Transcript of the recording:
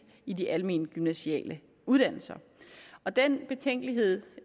i de almengymnasiale uddannelser og den betænkelighed